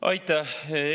Aitäh!